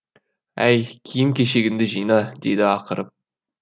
әй киім кешегінді жина деді ақырып